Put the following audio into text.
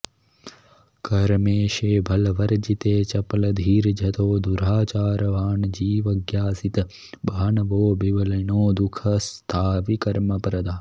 कर्मेशे बलवर्जिते चपलधीर्जतो दुराचारवान् जीवज्ञासितभानवो विबलिनो दुःस्था विकर्मप्रदाः